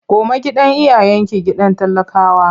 Koma gidan iyayenki gidan talakawa!